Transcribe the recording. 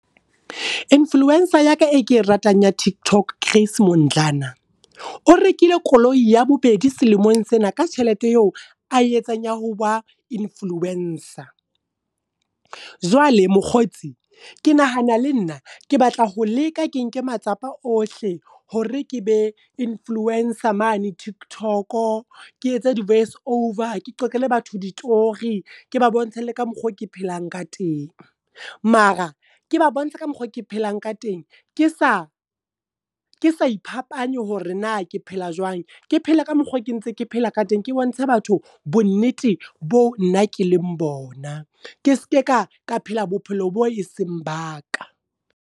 Influencer ya ka e ke ratang ya TikTok, Grace Mondlana. O rekile koloi ya bobedi selemong sena ka tjhelete eo a etsang ya ho ba influencer. Jwale mokgotsi, ke nahana le nna, ke batla ho leka ke nke matsapa o hle hore ke be influencer mane TikTok. Ke etse di voice over, ke qoqele batho ditori, ke ba bontshe le ka mokgoo ke phelang ka teng. Mara, ke ba bontshe ka mokgoo ke phelang ka teng ke sa ke sa iphapanye hore na ke phela jwang. Ke phele ka mokgoo ke ntseng ke phela ka teng ke bontshe batho bo nnete bo nna ke leng bona. Ke ske ka ka phela bophelo bo e seng ba ka.